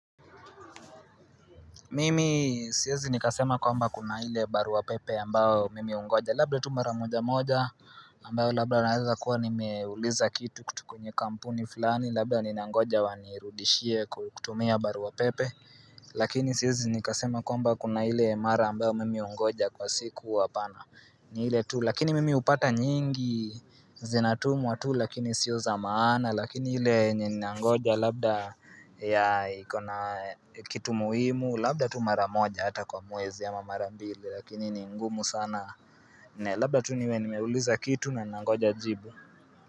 Mimi siwezi nikasema kwamba kuna ile barua pepe ambayo mimi hungoja Labda tu mara moja moja ambayo labda naweza kuwa nimeuliza kitu kutoka kwenye kampuni fulani Labda ninangoja wanirudishie kutumia barua pepe Lakini siwezi nikasema kwamba kuna ile mara ambayo mimi hungoja kwa siku hapana ni ile tu lakini mimi hupata nyingi zinatumwa tu lakini sio za maana Lakini ile ninangoja labda ya ikona kitu muhimu Labda tu mara moja hata kwa mwezi ama mara mbili Lakini ni ngumu sana Labda tu niwe nimeuliza kitu na nangoja jibu.